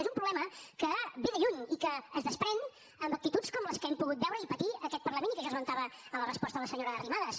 és un problema que ve de lluny i que es desprèn amb actituds com les que hem pogut veure i patir aquest parlament i que jo esmentava a la resposta a la senyora arrimadas